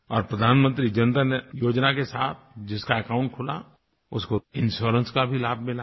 और प्रधानमंत्री जनधन योजना के साथ जिसका अकाउंट खुला उसको इंश्योरेंस का भी लाभ मिला है